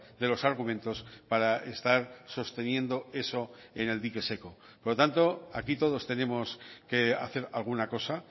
de los argumentos para estar sosteniendo eso en el dique seco por lo tanto aquí todos tenemos que hacer alguna cosa